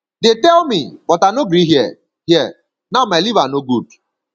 dey tell me but i no gree hear hear now my liver no good